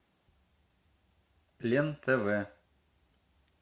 лен тв